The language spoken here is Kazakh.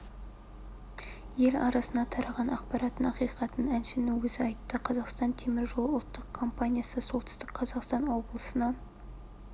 ел арасына тараған ақпараттың ақиқатын әншінің өзі айтты қазақстан темір жолы ұлттық компаниясы солтүстік қазақстан облысына